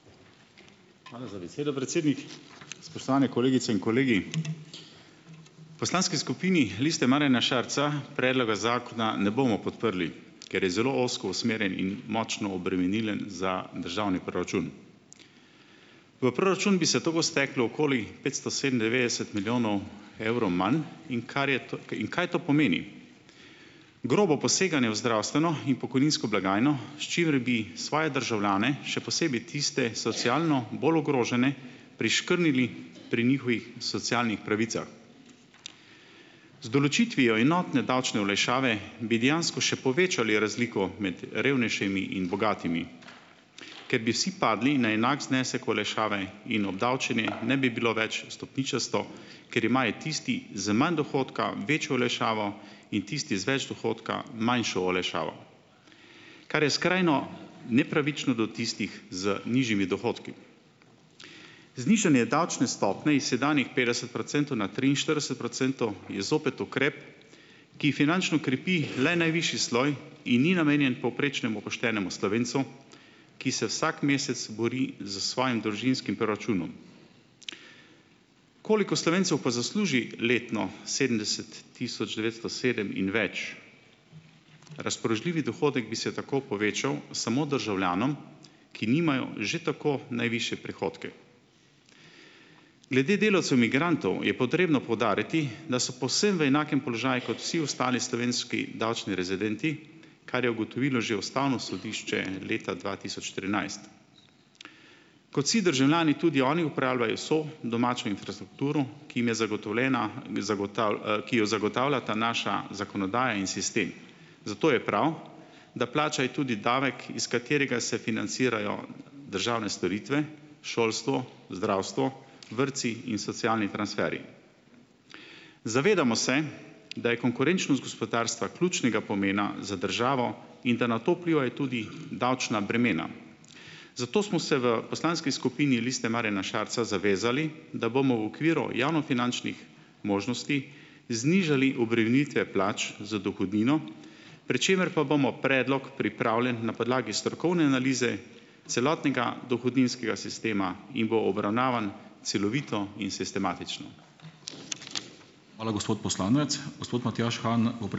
Hvala za besedo, predsednik. Spoštovane kolegice in kolegi! V poslanski skupini Liste Marjana Šarca predloga zakona ne bomo podprli, ker je zelo ozko usmerjen in močno obremenilen za državni proračun. V proračun bi se tako steklo okoli petsto sedemindevetdeset milijonov evrov manj in kar je to, in kaj to pomeni. Grobo poseganje v zdravstveno in pokojninsko blagajno, s čimer bi svoje državljane, še posebej tiste, socialno bolj ogrožene, priškrnili pri njihovih socialnih pravicah. Z določitvijo enotne davčne olajšave bi dejansko še povečali razliko med revnejšimi in bogatimi, ker bi vsi padli na enak znesek olajšave in obdavčenje ne bi bilo več stopničasto, ker imajo tisti z manj dohodka večjo olajšavo in tisti z več dohodka manjšo olajšavo, kar je skrajno nepravično do tistih z nižjimi dohodki. Znižanje davčne stopnje is sedanjih petdeset procentov na triinštirideset procentov je zopet ukrep, ki finančno krepi le najvišji sloj in ni namenjen povprečnemu poštenemu Slovencu, ki se vsak mesec bori s svojim družinskim proračunom. Koliko Slovencev pa zasluži letno sedemdeset tisoč devetsto sedem in več? Razpoložljivi dohodek bi se tako povečal samo državljanom, ki nimajo že tako najvišje prihodke. Glede delavcev migrantov je potrebno poudariti, da so povsem v enakem položaju, kot vsi ostali slovenski davčni rezidenti, kar je ugotovilo že ustavno sodišče leta dva tisoč trinajst. Kot vsi državljani tudi oni uporabljajo vso domačo infrastrukturo, ki jim je zagotovljena, ki jo zagotavljata naša zakonodaja in sistem. Zato je prav, da plačajo tudi davek, iz katerega se financirajo državne storitve, šolstvo, zdravstvo, vrtci in socialni transferi. Zavedamo se, da je konkurenčnost gospodarstva ključnega pomena za državo in da na to vplivajo tudi davčna bremena. Zato smo se v poslanski skupini Lista Marjana Šarca zavezali, da bomo v okviru javnofinančnih možnosti znižali obremenitve plač z dohodnino, pri čemer pa bomo predlog pripravljen na podlagi strokovne analize celotnega dohodninskega sistema in bo obravnavan celovito in sistematično.